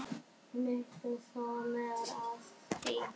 Mikill sómi er að því.